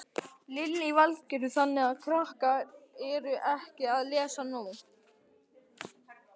Lillý Valgerður: Þannig að krakkar eru ekki að lesa nóg?